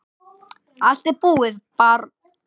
Allt er búið, barn.